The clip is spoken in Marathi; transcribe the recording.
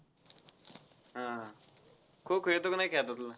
हा. खो-खो खेळतो का नाय की आता तू?